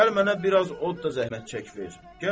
Gələ mənə biraz od da zəhmət çək ver.